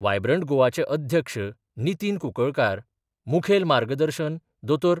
Vibrant गोवाचे अध्यक्ष नितीन कुंकळकार, मुखेल मार्गदर्शन दोतोर.